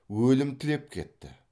өлім тілеп кетті